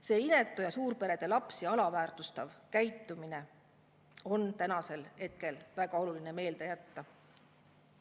See inetu ja suurperede lapsi alaväärtustav käitumine on täna väga oluline meelde jätta.